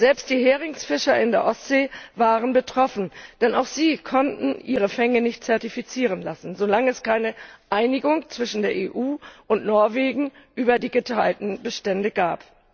Selbst die Heringsfischer in der Ostsee waren betroffen, denn auch sie konnten ihre Fänge nicht zertifizieren lassen, solange es keine Einigung zwischen der EU und Norwegen über die geteilten Bestände gab.